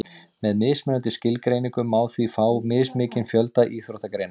með mismunandi skilgreiningum má því fá mismikinn fjölda íþróttagreina